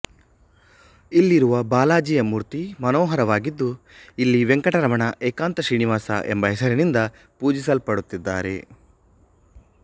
ಇಲ್ಲಿರುವ ಬಾಲಾಜಿಯ ಮೂರ್ತಿ ಮನೋಹರವಾಗಿದ್ದು ಇಲ್ಲಿ ವೆಂಕಟರಮಣ ಏಕಾಂತ ಶ್ರೀನಿವಾಸ ಎಂಬ ಹೆಸರಿನಿಂದ ಪೂಜಿಸಲ್ಪಡುತ್ತಿದ್ದಾರೆ